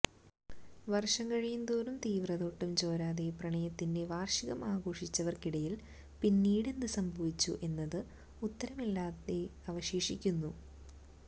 വർഷം കഴിയുംതോറും തീവ്രത ഒട്ടും ചോരാതെ പ്രണയത്തിന്റെ വാർഷികം ആഘോഷിച്ചവർക്കിടയിൽ പിന്നീട് എന്ത് സംഭവിച്ചു എന്നത് ഉത്തരമില്ലാതെ അവശേഷിക്കുന്നു